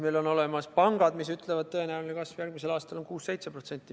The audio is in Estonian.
Meil on olemas pangad, kes ütlevad, et tõenäoline kasv järgmisel aastal on 6–7%.